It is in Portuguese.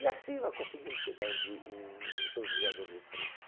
E assim nós conseguimos chegar em Ri em São José do Rio Preto.